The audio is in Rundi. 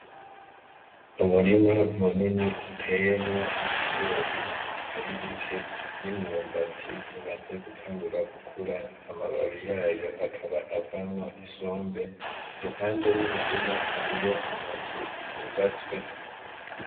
Umurima munini uteyemwo ibigori bitari bike n'imyumbati imaze gutangura gukura amababi yayo akaba avamwo isombe, iruhande y'umurima hariyo amazu yubatswe.